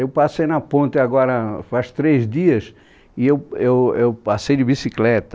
Eu passei na ponta agora faz três dias e eu eu eu passei de bicicleta.